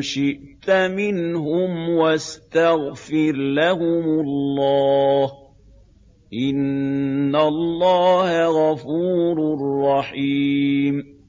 شِئْتَ مِنْهُمْ وَاسْتَغْفِرْ لَهُمُ اللَّهَ ۚ إِنَّ اللَّهَ غَفُورٌ رَّحِيمٌ